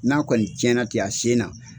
N'a kɔni tiɲɛna ten a sen na.